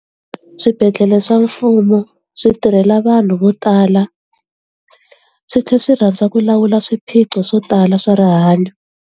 Swibedhlele swa mfumo swi tirhela vanhu vo tala swi tlhela swi rhandza ku lawula swiphiqo swo tala swa rihanyo.